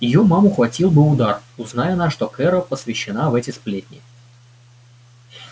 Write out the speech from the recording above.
её маму хватил бы удар узнай она что кэро посвящена в эти сплетни